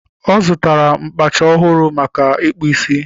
Ọ zụtara mkpacha ọhụrụ maka ịkpụ ísí